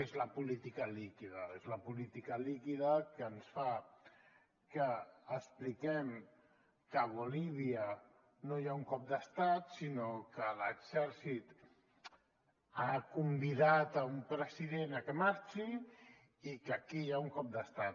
és la política líquida és la política líquida que ens fa que expliquem que a bolívia no hi ha un cop d’estat sinó que l’exèrcit ha convidat un president a que marxi i que aquí hi ha un cop d’estat